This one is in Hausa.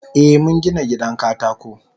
Eh mungina gidan katako.